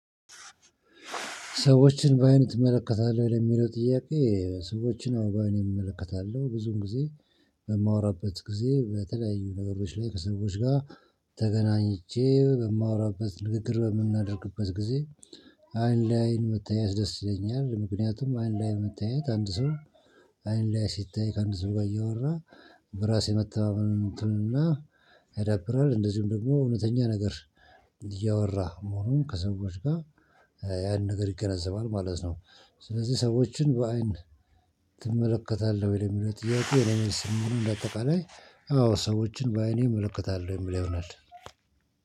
ሰዎችን በአይንህ ትመለከታለህ? ለሚለው ጥያቄ ሰዎችን አወ በአይኔ እመለከታለሁ። ብዙም ጊዜ በማወራበት ጊዜ በተለያዩ ነገሮች ላይ ከሰዎች ጋር ተገናኝቼ በማወራበት ንግግር በምናደርግበት ጊዜ አይን ለአይን መተያየት ደስ ይለኛል። ምክንያቱም አይን ለአይን መተያየት አንድ ሰው አይን ለአይን ሲተያይ አንድ ሰው ጋር እያወራ በራሱ መተማመንን እንትንና ያዳብራል። እንደዚሁም ደግሞ እውነተኛ ነገር እያወራህ መሆኑን ከሰዎች ጋር ያንን ነገር ይገነዘባል ማለት ነው። ስለዚህ ሰዎችን በአይን ትመለከታለህ ወይ? ለሚለው ጥያቄ እኔም በአጠቃላይ አዎ ሰዎችን በአይኔ እመለከታለሁ የሚል ይሆናል።